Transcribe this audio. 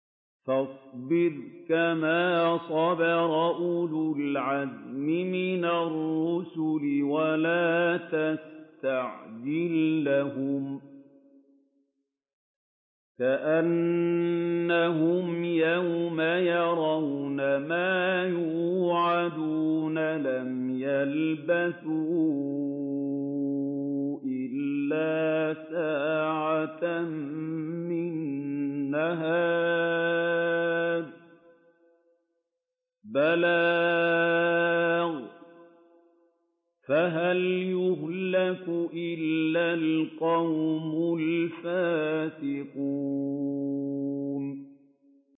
فَاصْبِرْ كَمَا صَبَرَ أُولُو الْعَزْمِ مِنَ الرُّسُلِ وَلَا تَسْتَعْجِل لَّهُمْ ۚ كَأَنَّهُمْ يَوْمَ يَرَوْنَ مَا يُوعَدُونَ لَمْ يَلْبَثُوا إِلَّا سَاعَةً مِّن نَّهَارٍ ۚ بَلَاغٌ ۚ فَهَلْ يُهْلَكُ إِلَّا الْقَوْمُ الْفَاسِقُونَ